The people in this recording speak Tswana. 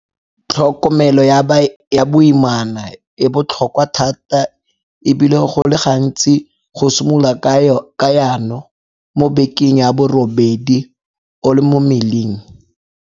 Tlhokomelo ya boimana e botlhokwa thata e bile go le gantsi go simololwa ka yano mo bekeng ya borobedi o le mo mmeleng.